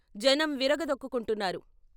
జనం విరగదొక్కుకుంటున్నారు.